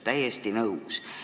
Täiesti nõus!